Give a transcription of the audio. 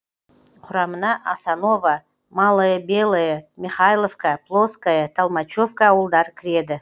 құрамына асаново малое белое михайловка плоское толмачевка ауылдары кіреді